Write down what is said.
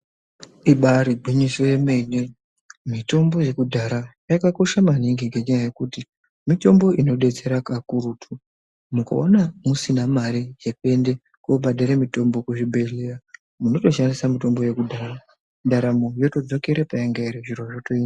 Ibari gwinyise yemene. Mitombo yakudhara yakakosha maningi ngenyaya yekuti mitombo inodetsera kakurutu. Mukaona musina mare yekuende kobhadhara mitombo kuzvibhedhlera munotoshandisa mitombo iyoyo yekudhara. Ndaramo yotodzokera payainge iri. Zviro zvotoita.